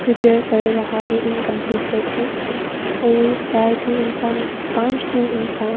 कर रहा है इनकंप्लीटेड है और चार ठो इंसान पांच ठो इंसान--